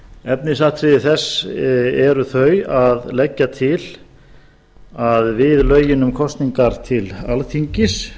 efnisatriði þess eru þau að leggja til að við lögin um kosningar til alþingis